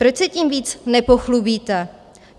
Proč se tím víc nepochlubíte?